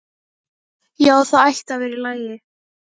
Já, það ætti að vera í lagi.